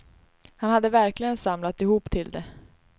Han hade verkligen samlat ihop till det.